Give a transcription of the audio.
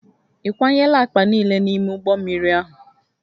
Ị kwanyela akpa niile n'ime ụgbọ mmiri ahụ?